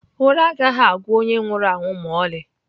Ụra agaghị agwụ onye nwụrụ anwụ ma ọlị.